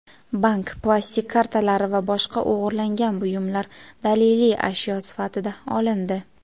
bank plastik kartalari va boshqa o‘g‘irlangan buyumlar daliliy ashyo sifatida olindi.